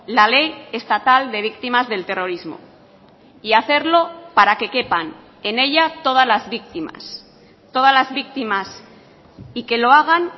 la ley estatal de víctimas del terrorismo y hacerlo para que quepan en ella todas las víctimas todas las víctimas y que lo hagan